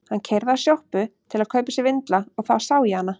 Hann keyrði að sjoppu til að kaupa sér vindla og þá sá ég hana.